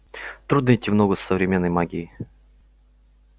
трудно идти в ногу с современной магией